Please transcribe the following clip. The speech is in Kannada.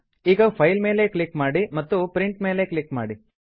ಈಗ ಫೈಲ್ ಮೇಲೆ ಕ್ಲಿಕ್ ಮಾಡಿ ಮತ್ತು ಪ್ರಿಂಟ್ ಮೇಲೆ ಕ್ಲಿಕ್ ಮಾಡಿ